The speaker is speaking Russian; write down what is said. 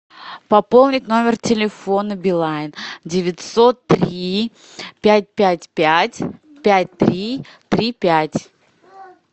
пополнить номер телефона билайн девятьсот три пять пять пять пять три три пять